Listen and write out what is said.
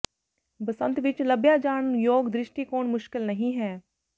ਬਸੰਤ ਵਿਚ ਲੱਭਿਆ ਜਾਣ ਯੋਗ ਦ੍ਰਿਸ਼ਟੀਕੋਣ ਮੁਸ਼ਕਿਲ ਨਹੀਂ ਹੈ